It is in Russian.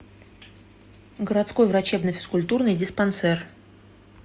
городской врачебно физкультурный диспансер